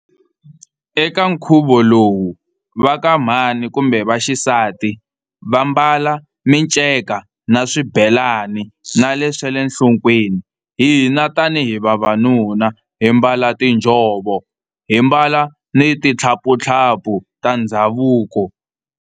Eka nkhuvo lowu va ka mhani kumbe vaxisati va mbala minceka na swibelani na le swa le nhlokweni. Hina tani hi vavanuna hi mbala tinjhovo hi mbala ni tithaphutaphu ta ndhavuko.